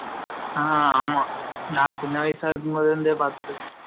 ஆ ஆமா, நா சின்ன வாயாசா இருக்கும் போது இருந்தே பாத்ட்டு இருகேன்